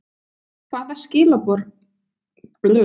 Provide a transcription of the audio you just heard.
Hvaða skilaboð er verið að senda?